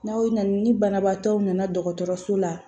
N'aw na na ni banabaatɔw nana dɔgɔtɔrɔso la